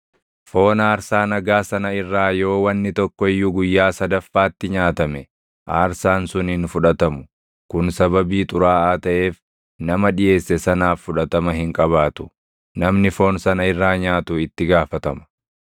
Foon aarsaa nagaa sana irraa yoo wanni tokko iyyuu guyyaa sadaffaatti nyaatame aarsaan sun hin fudhatamu. Kun sababii xuraaʼaa taʼeef nama dhiʼeesse sanaaf fudhatama hin qabaatu. Namni foon sana irraa nyaatu itti gaafatama.